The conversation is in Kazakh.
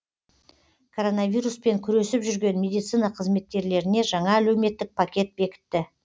короновируспен күресіп жүрген медицина қызметкерлеріне жаңа әлеуметтік пакет бекітті